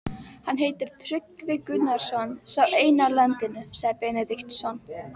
Hann heitir Tryggvi Gunnarsson, sá eini á landinu, sagði Benediktsson.